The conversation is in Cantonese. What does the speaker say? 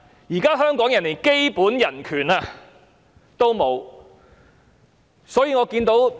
現在香港人連基本人權也沒有。